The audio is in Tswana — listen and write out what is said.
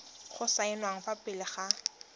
go saenwa fa pele ga